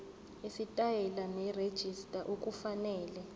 isitayela nerejista okufanele